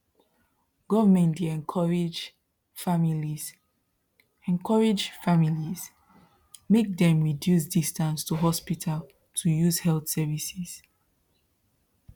government dey encourage families encourage families make dem reduce distance to hospital to use health services